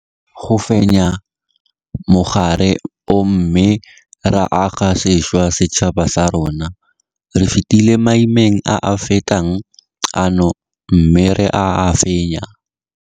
Re tlile go fenya mogare o mme ra aga sešwa setšhaba sa rona. Re fetile maimeng a a fetang ano mme ra a fenya.